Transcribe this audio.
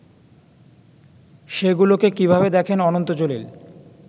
সেগুলোকে কিভাবে দেখেন অনন্ত জলিল